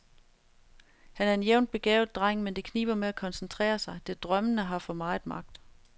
Han er en jævnt begavet dreng, men det kniber med at koncentrere sig, det drømmende har for meget magt.